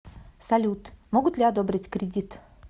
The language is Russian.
салют могут ли одобрить кредит